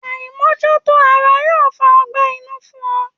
Aimojuto ara yoo fa ọgbẹ́ inu fun ọ